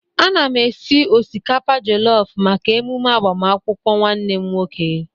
Ana m esi osikapa jọlọfu maka emume agbamakwukwọ nwanne m nwoke.